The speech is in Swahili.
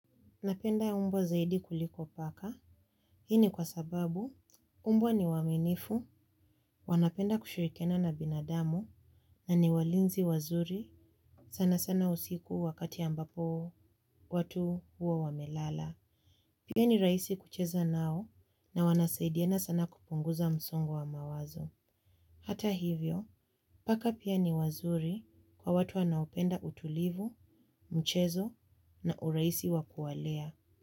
Napenda umbwa zaidi kuliko paka, hii ni kwa sababu umbwa ni waminifu, wanapenda kushurikiana na binadamu, na ni walinzi wazuri sana sana usiku wakati ambapo watu huo wamelala. Pia ni raisi kucheza nao na wanasaidiana sana kupunguza msongo wa mawazo. Hata hivyo, paka pia ni wazuri kwa watu wanaupenda utulivu, mchezo na uraisi wa kualea.